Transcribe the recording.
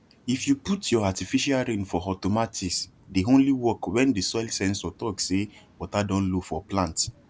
if you put your artificial rain for automatice dey only work when the soil sensor talk say water don low for plants